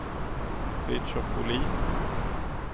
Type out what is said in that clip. Fritiof Bohlin